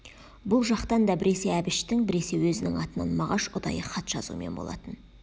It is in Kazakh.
бұл жақтан да біресе әбіштің біресе өзінің атынан мағаш ұдайы хат жазумен болатын